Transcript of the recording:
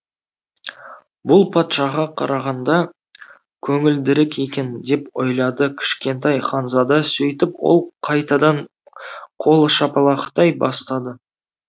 бұл патшаға қарағанда көңілдірек екен деп ойлады кішкентай ханзада сөйтіп ол қайтадан қол шапалақтай бастады